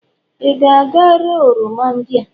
ị ga-aga ree oroma ndị a!